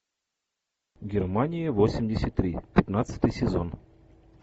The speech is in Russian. германия восемьдесят три пятнадцатый сезон